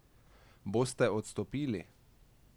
Boste odstopili?